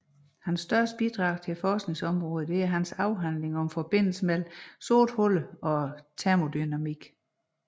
Hans største bidrag til forskningsområderne er hans afhandlinger om forbindelsen mellem sorte huller og termodynamikken